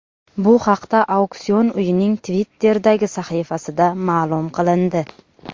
Bu haqda auksion uyining Twitter’dagi sahifasida ma’lum qilindi .